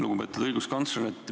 Lugupeetud õiguskantsler!